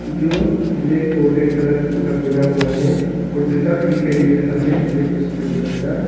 जो ब्लैक और red colour का कपड़ा पहना हुआ है और जूता भी दिखाई दे रहा है ब्लैक सफेद कलर का।